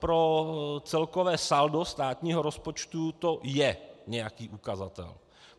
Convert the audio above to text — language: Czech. Pro celkové saldo státního rozpočtu to je nějaký ukazatel.